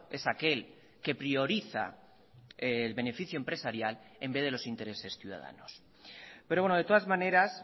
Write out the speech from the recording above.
es aquel que prioriza el beneficio empresarial en vez de los intereses ciudadanos pero bueno de todas maneras